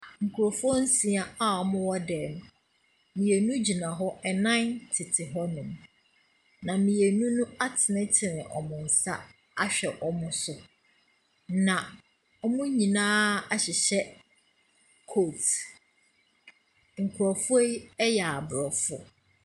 Nkurɔfoɔ nsia a wɔwɔ dan mu. Mmienu gyina hɔ, nnan tete hɔnom. Na mmienu no atenetene wɔn nsa ahwɛ wɔn so. Na wɔn nyinaa ahyehyɛ coats. Nkurɔfoɔ yi yɛ aborɔfo,.